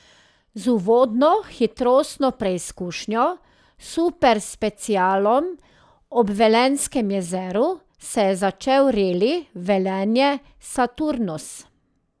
Z uvodno hitrostno preizkušnjo, superspecialom ob Velenjskem jezeru, se je začel reli Velenje Saturnus.